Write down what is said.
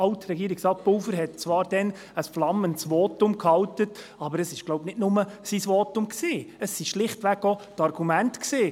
Pulver hielt damals zwar ein flammendes Votum, aber es war, glaube ich, nicht nur sein Votum, es waren schlichtweg auch die Argumente.